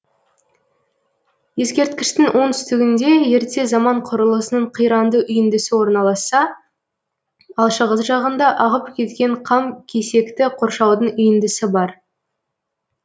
ескерткіштің оңтүстігінде ерте заман құрылысының қиранды үйіндісі орналасса ал шығыс жағында ағып кеткен қам кесекті қоршаудың үйіндісі бар